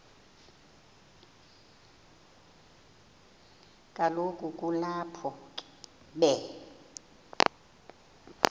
kaloku kulapho be